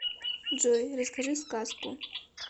джой расскажи сказку